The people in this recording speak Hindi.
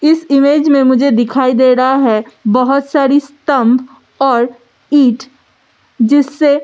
इस इमेज में मुझे दिखाई दे रहा है बहौत सारे स्‍तंभ और ईंट जिससे --